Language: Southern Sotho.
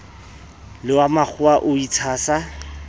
le wa makgowa o itshasa